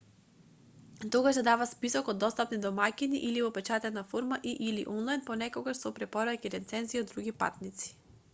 тогаш се дава список од достапни домаќини или во печатена форма и/или онлајн понекогаш со препораки и рецензии од други патници